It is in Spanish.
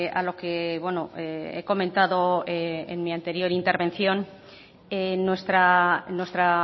a lo que he comentado en mi anterior intervención nuestra